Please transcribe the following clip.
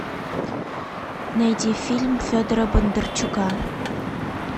найди фильм федора бондарчука